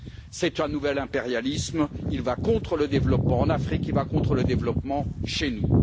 C'est un nouvel impérialisme qui va à l'encontre du développement en Afrique et à l'encontre du développement chez nous.